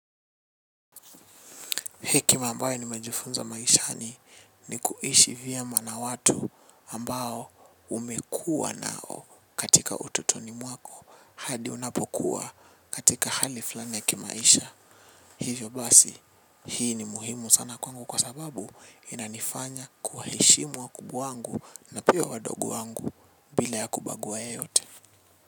Hekima ambayo ni mejifunza maishani ni kuishi vyema na watu ambao umekuwa nao katika utotoni mwako hadi unapokuwa katika hali fulani ya kimaisha. Hivyo basi, hii ni muhimu sana kwangu kwa sababu inanifanya kuheshimu wa kubwa wangu na pia wadogo wangu bila ya kubagua yeyote.